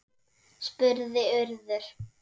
spurði Urður.